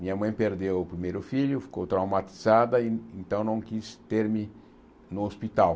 Minha mãe perdeu o primeiro filho, ficou traumatizada e então não quis ter-me no hospital.